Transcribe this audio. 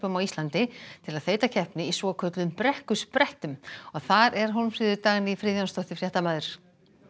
á Íslandi til að þreyta keppni í svokölluðum þar er Hólmfríður Dagný Friðjónsdóttir fréttamaður